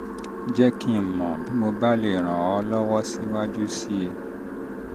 jẹ́ kí n mọ̀ kí n mọ̀ bí mo bá lè ràn ọ́ lọ́wọ́ síwájú sí i